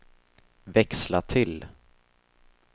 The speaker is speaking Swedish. växla till